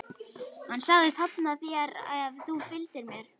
Hann sagðist hafna þér ef þú fylgdir mér.